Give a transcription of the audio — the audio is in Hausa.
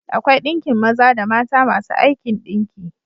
Akwai ɗinkin maza da mata masu aikin ɗinki.